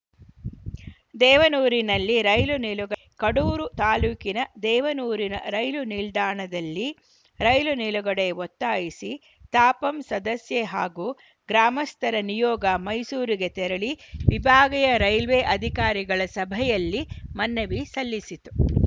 ದೇವನೂರಿನಲ್ಲಿ rail ನಿಲುಗಡಕಡೂರು ತಾಲೂಕಿನ ದೇವನೂರಿನ ರೈಲು ನಿಲ್ದಾಣದಲ್ಲಿ ರೈಲು ನಿಲುಗಡೆಗೆ ಒತ್ತಾಯಿಸಿ ತಾಪಂ ಸದಸ್ಯೆ ಹಾಗೂ ಗ್ರಾಮಸ್ಥರ ನಿಯೋಗ ಮೈಸೂರಿಗೆ ತೆರಳಿ ವಿಭಾಗೀಯ ರೈಲ್ವೆ ಅಧಿಕಾರಿಗಳ ಸಭೆಯಲ್ಲಿ ಮನವಿ ಸಲ್ಲಿಸಿತು